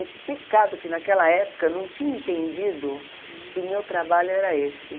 É que pecado que naquela época eu não tinha entendido que o meu trabalho era esse.